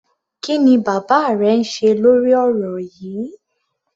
Kí ni bàbá rẹ ń ṣe lórí ọ̀rọ̀ yíì?